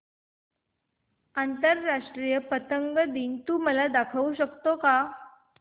आंतरराष्ट्रीय पतंग दिन तू मला दाखवू शकतो का